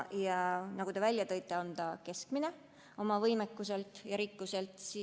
Nagu te välja tõite, on ta oma võimekuselt ja rikkuselt keskmine.